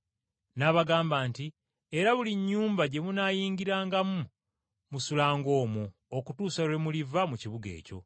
N’abagamba nti, “Era buli nnyumba gye munaayingirangamu musulanga omwo okutuusa lwe muliva mu kibuga ekyo.